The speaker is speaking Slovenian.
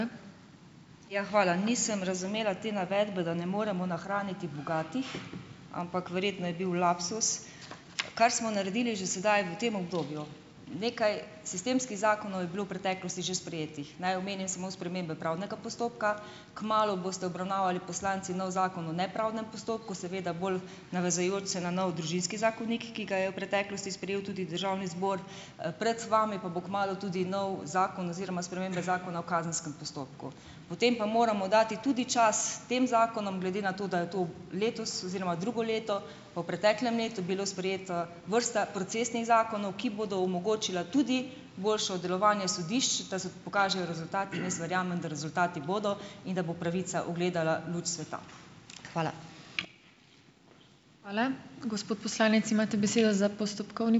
Ja, hvala. Nisem razumela te navedbe, da ne moremo nahraniti bogatih, ampak verjetno je bil lapsus. Kar smo naredili že sedaj v tem obdobju, nekaj sistemskih zakonov je bilo v preteklosti že sprejetih. Naj omenim samo spremembe pravnega postopka, kmalu boste obravnavali poslanci nov zakon o nepravdnem postopku, seveda bolj navezujoč se na nov družinski zakonik, ki ga je v preteklosti sprejel tudi državni zbor. Pred vami pa bo kmalu tudi nov zakon oziroma spremembe zakona o kazenskem postopku. Potem pa moramo dati tudi čas tem zakonom, glede na to, da je to letos oziroma drugo leto, pa v preteklem letu bilo sprejeto, vrsta procesnih zakonov, ki bodo omogočili tudi boljše delovanje sodišč, da se pokažejo rezultati, in jaz verjamem, da rezultati bodo in da bo pravica ugledala luč sveta. Hvala.